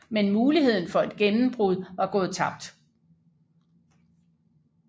Men muligheden for et gennembrud var gået tabt